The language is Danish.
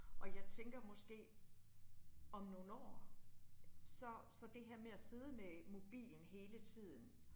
Og jeg tænker måske, om nogle år så så det her med at sidde med mobilen hele tiden